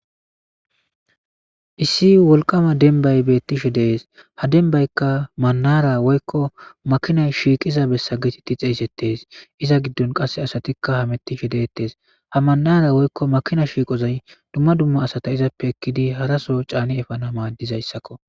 Issi wolqama dembay betishe des ha dembayka manara woyko makinay shiqiza besa geteti xeysetes iza gidon qase asatika hametishe detes ha manara woyko makinay shiqoy dumma dumma asata canidi efelizaysa qoncises